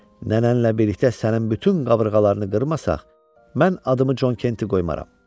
Nənənlə birlikdə sənin bütün qabırğalarını qırmasaq, mən adımı Con Kenti qoymaram.